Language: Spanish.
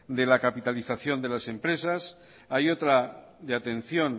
de la capitalización de las empresas hay otra de atención